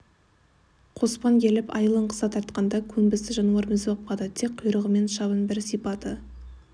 қоспан келіп айылын қыса тартқанда көнбісті жануар мізбақпады тек құйрығымен шабын бір сипады